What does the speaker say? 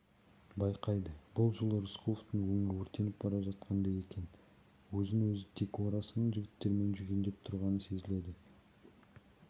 байқайды бұл жолы рысқұловтың өңі өртеніп бара жатқандай екен өзін-өзі тек орасан жігермен жүгендеп тұрғаны сезіледі